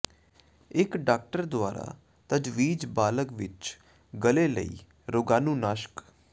ਇੱਕ ਡਾਕਟਰ ਦੁਆਰਾ ਤਜਵੀਜ਼ ਬਾਲਗ ਵਿੱਚ ਗਲ਼ੇ ਲਈ ਰੋਗਾਣੂਨਾਸ਼ਕ